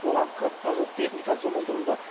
оған қырыққа жуық техника жұмылдырылды